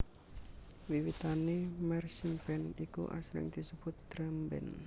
Wiwitane marchingband iku asring disebut drumband